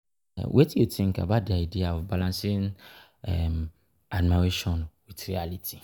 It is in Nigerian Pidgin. Wetin you think about di idea of balancing admiration with reality?